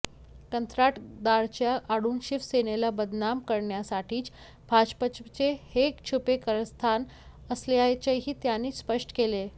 कंत्राटदाराच्या आडून शिवसेनेला बदनाम करण्यासाठीच भाजपचे हे छुपे कारस्थान असल्याचेही त्यांनी स्पष्ट केले